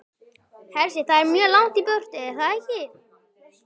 Hersir: Það er mjög langt í burtu, er það ekki?